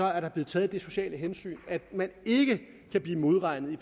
er der blevet taget det sociale hensyn at man ikke kan blive modregnet i